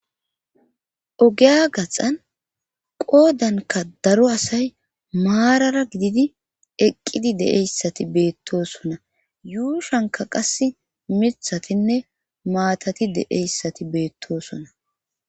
Ogeya gaxan qoodanka daro asay maarara gididi eqqidi deeyssati beettosona yuushanka qas mithatinne maatati deeyssati beettosona